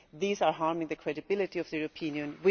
These are harming the credibility of the European Union